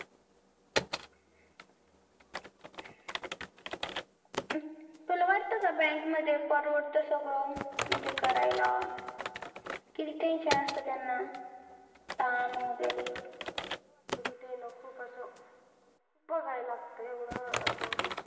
तुला वाटत का bank मध्ये परवडत सगळ म्हणजे करायला किती tension असत त्यांना ताण वैगेरे खूप असं बघावा लागत